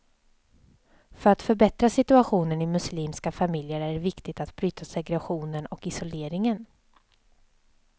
För att förbättra situationen i muslimska familjer, är det viktigt att bryta segregationen och isoleringen.